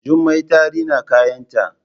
Jummai ta rina kayanta